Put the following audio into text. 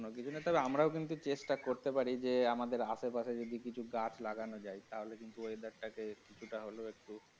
কোনো কিছু নেই তবে আমরাও কিন্তু চেষ্টা করতে পারি যে আমাদের আশেপাশে যদি কিছু গাছ লাগানো যায় তাহলে কিন্তু weather টাকে কিছুটা হলেও একটু।